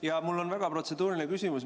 Jaa, mul on väga protseduuriline küsimus.